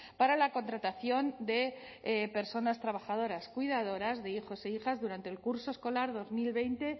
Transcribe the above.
para la contratación de personas trabajadoras cuidadoras de hijos e hijas durante el curso escolar dos mil veinte